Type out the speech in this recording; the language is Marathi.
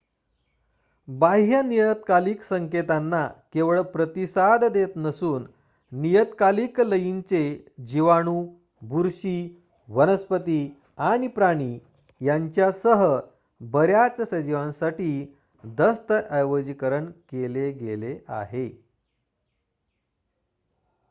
बाह्य नियतकालिक संकेतांना केवळ प्रतिसाद देत नसून नियतकालिक लयींंचे जीवाणू बुरशी वनस्पती आणि प्राणी यांच्यासह बर्‍याच सजीवांसाठी दस्तऐवजीकरण केले गेले आहे